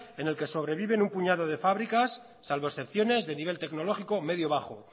en el que sobrevive un puñado de fábricas salvo excepciones de nivel tecnológico medio bajo